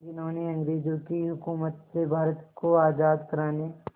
जिन्होंने अंग्रेज़ों की हुकूमत से भारत को आज़ाद कराने